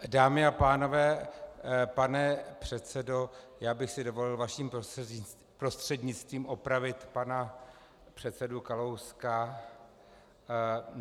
Dámy a pánové, pane předsedo, já bych si dovolil vaším prostřednictvím opravit pana předsedu Kalouska.